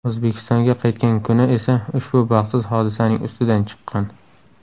O‘zbekistonga qaytgan kuni esa ushbu baxtsiz hodisaning ustidan chiqqan.